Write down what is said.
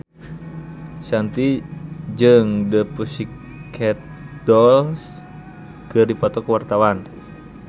Shanti jeung The Pussycat Dolls keur dipoto ku wartawan